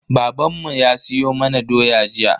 Babanmu ya siyo mana doya jiya.